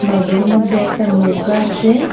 ওদের মধ্যে একটা নৌকা আসে।